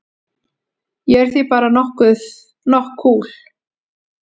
Ég er því bara nokk kúl.